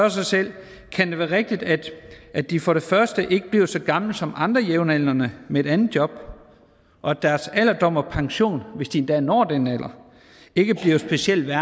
sig selv kan det være rigtigt at de for det første ikke bliver så gamle som andre jævnaldrende med et andet job og at deres alderdom og pension hvis de endda når den alder ikke bliver specielt